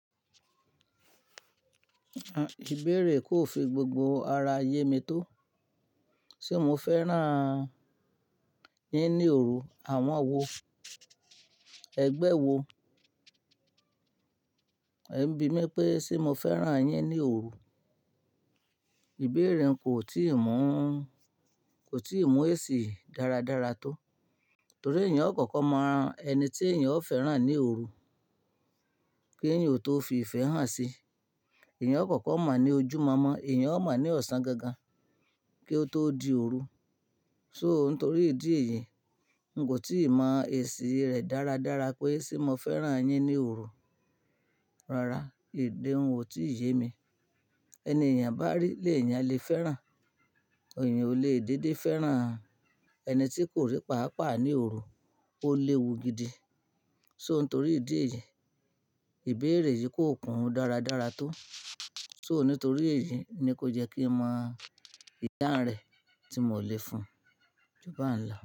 Ìbéèrè yi kó fi gbogbo ara ayé mi tó. Ṣé mo fẹ́ràn yín ní òru? Àwọn wo? Ẹgbẹ́ wo? E ń bi mí pé ṣé mo fẹ́ràn yín ní òru. Ìbéèrè kò tíì mọ̀, kò tíì mọ èsì dáradára tó. Torí èèyàn kọ̀kọ̀ mọ ẹni tí èèyàn ó fẹ́ràn ní òru kí èèyàn ó tó fi ìfẹ́ hàn si. Èèyàn kọ̀kọ̀ mọ ní ojúu mọ́mọ́, èèyàn ó mọ̀ ní ọ̀sán gangan kí ó tó di òru. So nítorí ìdí èyí, n kò tí ì mọ èsì rẹ̀ dáradára pé ṣé mo fẹ́ràn yín ní òru. Rara, ede òun ò tí ì yé mi. Ẹni èèyàn bá rí lè èèyàn le fẹ́ràn. Èyań ò le dédé fẹ́ràn ẹni tí kò rí pàápàá ní òru, ó léwu gidi. So nítorí ìdí èyí, ìbéèrè yìí kò kún dáradára tó. So nítorí èyí ni kó jẹ́ kí n mọ ìdáńrẹ̀ tí mò lè fún. Kọ jubá ń lo.